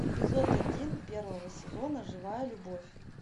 эпизод один первого сезона живая любовь